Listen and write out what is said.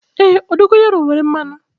Èé, dogayaru nwere mmanụ.